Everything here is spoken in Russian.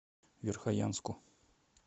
верхоянску